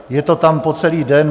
Je to tam po celý den.